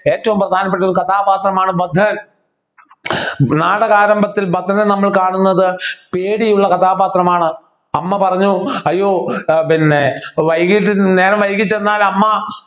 ഏറ്റവും പ്രധാനപ്പെട്ടൊരു കഥാപാത്രമാണ് ഭദ്രൻ നാടക ആരംഭത്തിൽ ഭദ്രനെ നമ്മൾ കാണുന്നത് പേടിയുള്ള കഥാപാത്രമാണ് അമ്മ പറഞ്ഞു അയ്യോ ആഹ് പിന്നെ വൈകിട്ട് നേരം വൈകി ചെന്നാൽ അമ്മ